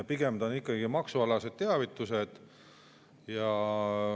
Pigem on ikkagi maksualased teavitused.